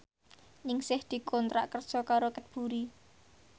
Ningsih dikontrak kerja karo Cadbury